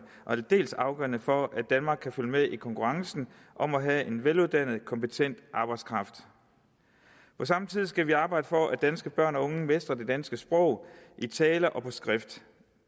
og aldeles afgørende for at danmark kan følge med i konkurrencen om at have en veluddannet kompetent arbejdskraft på samme tid skal vi arbejde for at danske børn og unge mestrer det danske sprog i tale og på skrift